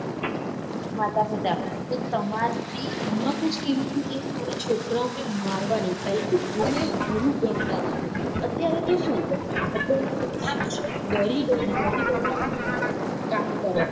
માતા પિતા કે તમારી હિમ્મત જ કેવી રીતે થઇ મારા છોકરાઓ ને મારવાની પેહલા તો ગુરુ ને ગુરુ ગણતા હતા અત્યારે તો સુ ડરી ડરી કામ કરે છે.